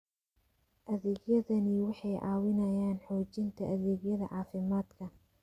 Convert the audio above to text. Adeegyadani waxay caawiyaan xoojinta adeegyada caafimaadka.